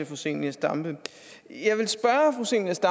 fru zenia stampe